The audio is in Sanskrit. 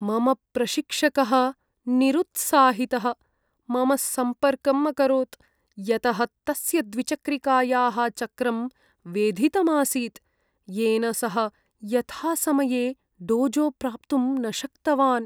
मम प्रशिक्षकः निरुत्साहितः मम सम्पर्कम् अकरोत्, यतः तस्य द्विचक्रिकायाः चक्रं वेधितम् आसीत्, येन सः यथासमये डोजो प्राप्तुं न शक्तवान्।